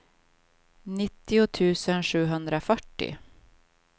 nittio tusen sjuhundrafyrtio